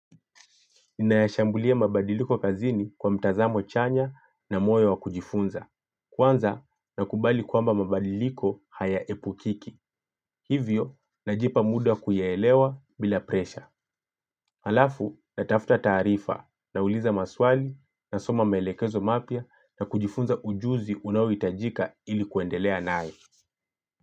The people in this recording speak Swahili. Ninayashambulia mabadiliko kazini kwa mtazamo chanya na moyo wa kujifunza. Kwanza nakubali kwamba mabadiliko hayaepukiki. Hivyo najipa muda wa kuyaelewa bila presha. Halafu natafuta taarifa nauliza maswali nasoma maelekezo mapya na kujifunza ujuzi unaohitajika ili kuendelea nayo.